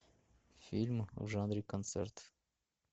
фильм в жанре концерт